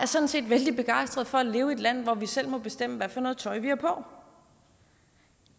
sådan set vældig begejstret for at leve i et land hvor vi selv må bestemme hvad for noget tøj vi har på